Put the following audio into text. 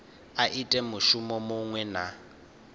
a ite mushumo muṅwe na